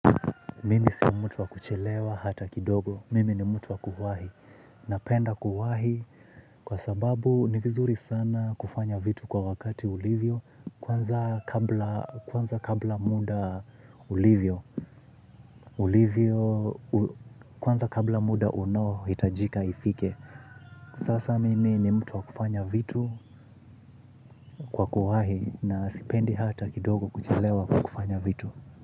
Mimi si mtu wa kuchelewa hata kidogo, mimi ni mtu wa kuwahi. Napenda kuwahi kwa sababu ni vizuri sana kufanya vitu kwa wakati ulivyo. Kwanza kabla muda ulivyo ulivyo kwanza kabla muda unohitajika ifike. Sasa mimi ni mtu wa kufanya vitu kwa kwahi na sipendi hata kidogo kuchelewa kufanya vitu.